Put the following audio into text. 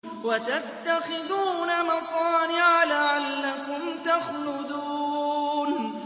وَتَتَّخِذُونَ مَصَانِعَ لَعَلَّكُمْ تَخْلُدُونَ